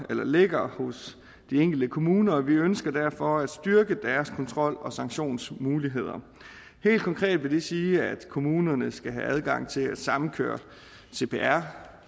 ligger hos de enkelte kommuner og vi ønsker derfor at styrke deres kontrol og sanktionsmuligheder helt konkret vil det sige at kommunerne skal have adgang til at samkøre cpr